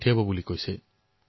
এই উৎসাহ শ্বহীদৰ পৰিয়াল